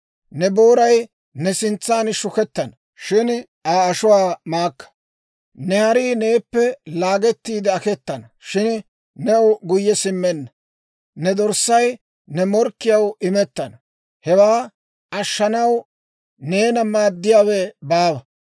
Ne booray ne sintsan shukettana; shin Aa ashuwaa maakka. Ne harii neeppe laagettiide aketana; shin new guyye simmenna. Ne dorssay ne morkkiyaw imettana; hewaa ashshanaw neena maaddiyaawe baawa.